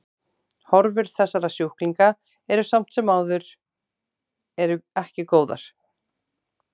Horfur þessara sjúklinga eru samt sem áður eru ekki góðar.